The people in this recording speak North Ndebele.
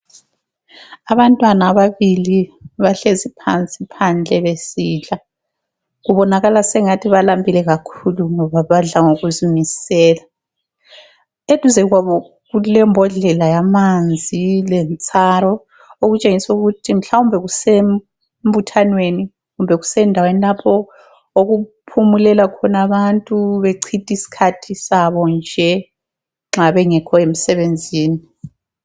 Abantwana ababili bahlezi phansi phandle besidla. Kubonakala sengathi balambile kakhulu ngoba badla ngokuzimisela. Eduze kwabo kulembodlela yamanzi lentsaro okutshengisela ukuthi mhlawumbe kusembuthanweni kumbe kusendaweni lapho okuphumulela khona abantu bechitha isikhathi sabo nje nxa bengekho emseebenzini.